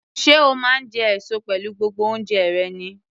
Sé o máa ń jẹ èso pẹ̀lú gbogbo oúnjẹ rẹ ni?